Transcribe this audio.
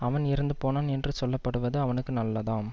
அவன் இறந்து போனான் என்று சொல்ல படுவது அவனுக்கு நல்லதாம்